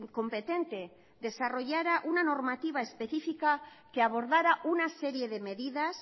competente desarrollará una normativa específica que abordara una serie de medidas